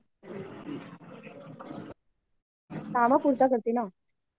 कामापुरता करते ना